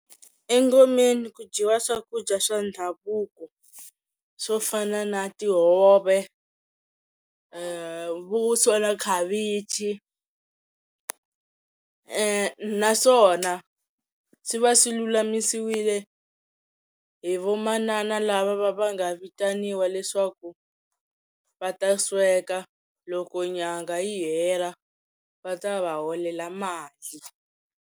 Engomeni ku dyiwa swakudya swa ndhavuko swo fana na tihove vuswa na khavichi naswona swi va swi lulamisiwile hi vamanana lava va va nga vitaniwa leswaku va ta sweka loko nyangha yi hela va ta va holela mali.